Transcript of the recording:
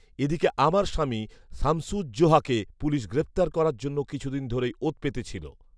এদিকে আমার স্বামী শামসুজ্জোহাকে পুলিশ গ্রেপ্তার করার জন্য কিছুদিন ধরেই ওৎ পেতে ছিল